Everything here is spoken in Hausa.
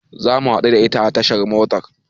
Zamu haɗu da ita a tashar motar.